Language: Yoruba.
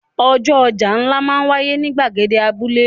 Ọjọ́ ọjà ńlá náà máa ń wáyé ní ìgbàgede abúlé.